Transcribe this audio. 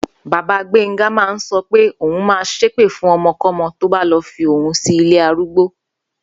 Bàbá Gbénga máa ń so̩ pé òun máa s̩épè fún o̩mo̩kó̩mo̩ tó bá lo̩ fi òun sí ilé arúgbó